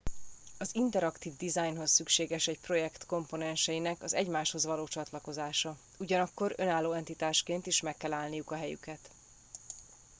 az interaktív dizájnhoz szükséges egy projekt komponenseinek az egymáshoz való csatlakozása ugyanakkor önálló entitásként is meg kell állniuk a helyüket